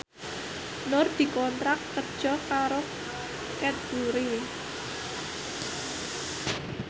Nur dikontrak kerja karo Cadbury